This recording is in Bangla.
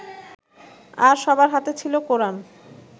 আর সবার হাতে ছিল কোরান